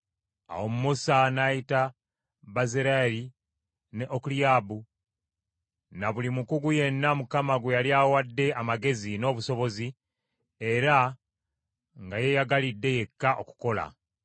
Awo Musa n’ayita Bezaaleeri ne Okoliyaabu, ne buli mukugu yenna Mukama gwe yali awadde amagezi n’obusobozi, era nga yeeyagalidde yekka okukola.